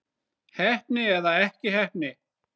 Heppni eða ekki heppni?